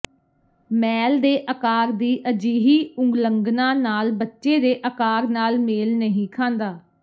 ਮੈਲ ਦੇ ਆਕਾਰ ਦੀ ਅਜਿਹੀ ਉਲੰਘਣਾ ਨਾਲ ਬੱਚੇ ਦੇ ਆਕਾਰ ਨਾਲ ਮੇਲ ਨਹੀਂ ਖਾਂਦਾ